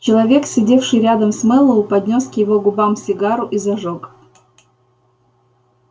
человек сидевший рядом с мэллоу поднёс к его губам сигару и зажёг